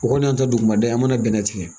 O kɔni y'an ta dugumada ye an mana bɛn tigɛ